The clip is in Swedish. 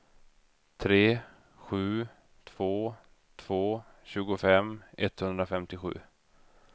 tre sju två två tjugofem etthundrafemtiosju